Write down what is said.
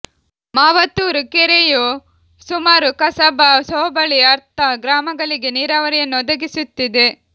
ಮಾವತ್ತೂರು ಕೆರೆಯು ಸುಮಾರು ಕಸಬಾ ಹೋಬಳಿ ಅರ್ಥ ಗ್ರಾಮಗಳಿಗೆ ನೀರಾವರಿಯನ್ನು ಒದಗಿಸುತ್ತಿದೆ